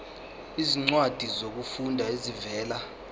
izincwadi zokufunda ezivela